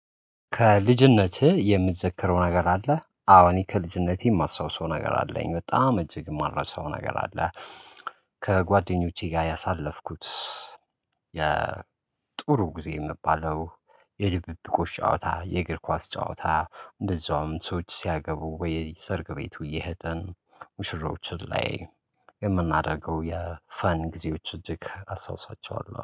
ከልጅነትህ የምትዘክረው ነገር አለ? አዎ እኔ ከልጅነቴ የማስታውሰው ነገር አለኝ በጣም እጅግ የማልረሳው ነገር አለ። ከጓደኞቼ ጋር ያሳለፍኩት። የጥሩ ጊዜ የሚባለው የድብብቆሽ ጨዋታ የእግር ኳስ ጨዋታ እንደዛውም ሰዎች ሲያገቡ በየሰርግ ቤቱ እየሄደን ሙሽሮችን ላይ የምናደርገው የፈን ጊዜዎች እጅግ አስታውሳቸዋለሁ